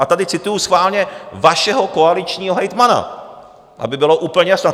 A tady cituju schválně vašeho koaličního hejtmana, aby bylo úplně jasno.